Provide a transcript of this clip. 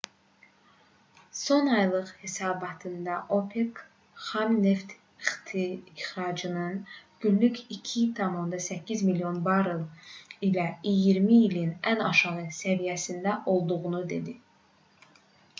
son aylıq hesabatında opec xam neft ixracatının günlük 2,8 milyon barel ilə iyirmi ilin ən aşağı səviyyəsində olduğunu dedi